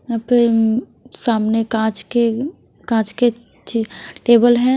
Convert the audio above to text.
यहाँ पे उम्म सामने काँच के काँच के च टेबल हैं।